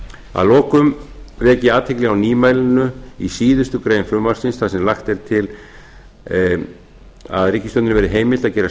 að lokum vek ég athygli á nýmæli í síðustu grein frumvarpsins þar sem lagt er til að ríkisstjórninni verði heimilt að gera